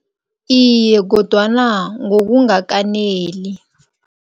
Iye kodwana ngokungakaneli.